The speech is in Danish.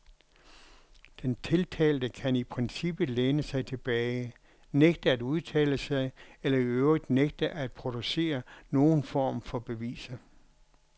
Den tiltalte kan i princippet læne sig tilbage, nægte at udtale sig eller i øvrigt nægte at producere nogen form for beviser.